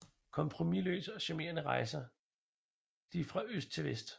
Kompromiløse og charmerende rejser de fra øst til vest